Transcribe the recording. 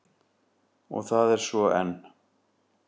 Og það er svo enn.